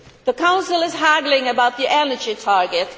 The Council is haggling about the energy target.